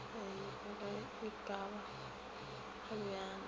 ge e ka ba kgabjana